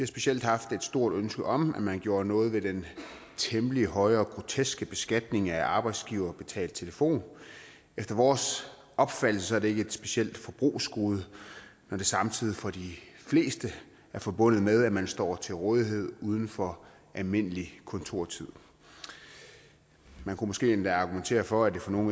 specielt haft et stort ønske om at man gjorde noget ved den temmelig høje og groteske beskatning af arbejdsgiverbetalt telefon efter vores opfattelse er det ikke et specielt forbrugsgode når det samtidig for de fleste er forbundet med at man står til rådighed uden for almindelig kontortid man kunne måske endda argumentere for at det for nogle